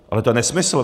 Ale to je nesmysl.